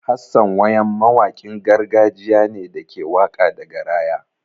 Hassan wayam mawaƙin gargajiya ne da ke waƙa da garaya.